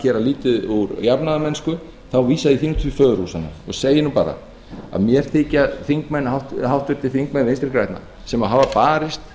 gera lítið úr jafnaðarmennsku þá vísa ég því til föðurhúsanna segi bara að mér þykja háttvirtir þingmenn vinstri grænna sem hafa barist